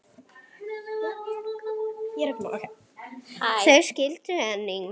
Þau skildu einnig.